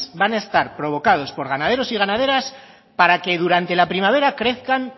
van a estar provocados por ganaderos y ganaderas para que durante la primavera crezcan